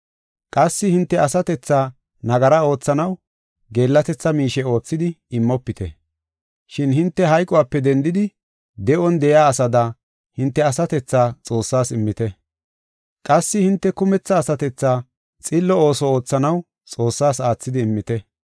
Qassi hinte asatethaa nagara oothanaw geellatetha miishe oothidi immofite. Shin hinte hayqope dendidi, de7on de7iya asada hinte asatethaa Xoossaas immite. Qassi hinte kumetha asatethaa xillo ooso oothanaw Xoossaas aathidi immite.